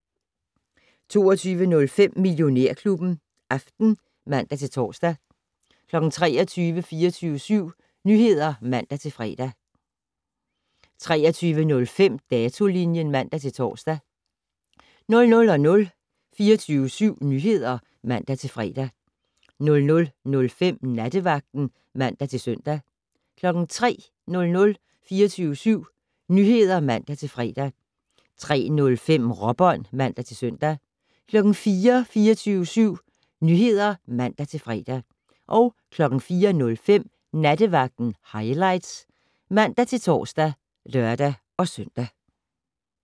22:05: Millionærklubben Aften (man-tor) 23:00: 24syv Nyheder (man-fre) 23:05: Datolinjen (man-tor) 00:00: 24syv Nyheder (man-fre) 00:05: Nattevagten (man-søn) 03:00: 24syv Nyheder (man-fre) 03:05: Råbånd (man-søn) 04:00: 24syv Nyheder (man-fre) 04:05: Nattevagten Highlights (man-tor og lør-søn)